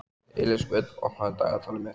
Elísabet, opnaðu dagatalið mitt.